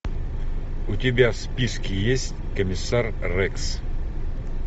у тебя в списке есть комиссар рекс